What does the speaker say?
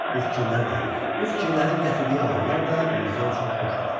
Bu fikirlər də, bu fikirlərin gətirdiyi ağrılar da Mirzə üçün xoş idi.